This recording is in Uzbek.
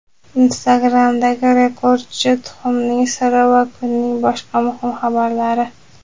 Instagram’dagi rekordchi tuxumning siri va kunning boshqa muhim xabarlari.